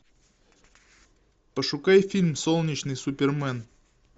пошукай фильм солнечный супермен